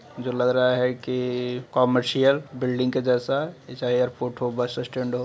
''जो लग रहा है की कमर्शियल बिल्डिंग के जैसा चाहे एयरपोर्ट हो बस स्टैन्ड हो ''''--''''''